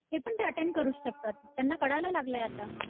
हे पण ते अटेंड करू शकतात त्यांना कळायला लागलंय आता